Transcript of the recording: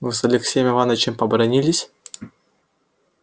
вы с алексеем иванычем побранились